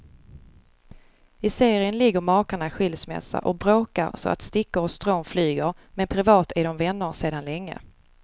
I serien ligger makarna i skilsmässa och bråkar så att stickor och strån flyger, men privat är de vänner sedan länge.